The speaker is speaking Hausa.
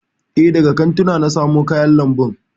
E, daga kantuna na samo kayan lambun.